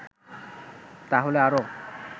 তাহলে আরও